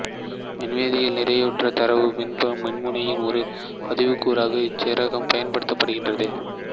மின்வேதியியலில் நிறைவுற்ற தரவு மின்முனையின் ஒரு பகுதிக்கூறாக இச்சேர்மம் பயன்படுத்தப்படுகிறது